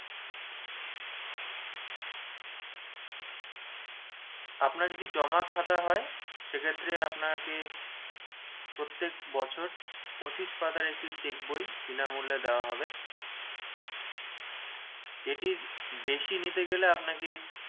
আপনার যদি জমা খাতা হয় সেক্ষেত্রে আপনাকে প্রত্যেক বছর পঁচিশ পাতার একটি cheque বই বিনামূল্যে দেওয়া হবে এটির বেশি নিতে গেলে আপনাকে